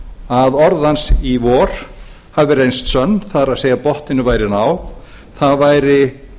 að orð hans í vor hafi reynst sönn það er að botninum væri náð það væri